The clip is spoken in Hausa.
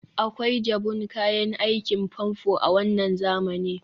akwai jabun kayan aikin famfo a wannan zamanin